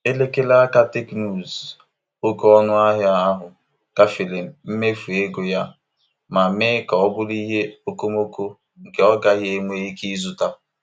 Elekere aka teknụzu oke ọnụahịa ahụ gafere mmefu ego ya ma mee ka ọ bụrụ ihe okomoko nke ọ gaghị enwe ike ịzụta.